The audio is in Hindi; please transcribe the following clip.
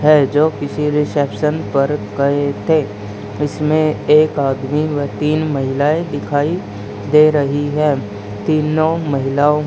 है जो किसी रिसेप्शन पर गए थे इसमें एक आदमी व तीन महिलाएं दिखाई दे रही हैं तीनों महिलाओं--